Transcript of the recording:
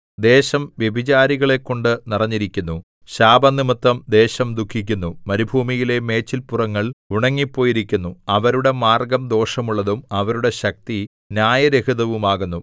ദേശം വ്യഭിചാരികളെക്കൊണ്ടു നിറഞ്ഞിരിക്കുന്നു ശാപംനിമിത്തം ദേശം ദുഃഖിക്കുന്നു മരുഭൂമിയിലെ മേച്ചില്പുറങ്ങൾ ഉണങ്ങിപ്പോയിരിക്കുന്നു അവരുടെ മാർഗ്ഗം ദോഷമുള്ളതും അവരുടെ ശക്തി ന്യായരഹിതവും ആകുന്നു